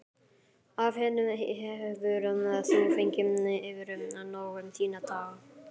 Af henni hefur þú fengið yfrið nóg um þína daga.